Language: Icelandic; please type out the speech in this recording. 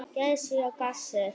Gæs og gassi.